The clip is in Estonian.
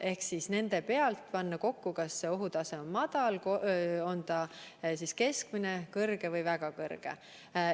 Ehk nende pealt tuleks panna kokku, kas ohutase on madal, keskmine, kõrge või väga kõrge.